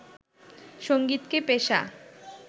সঙ্গীতকে পেশা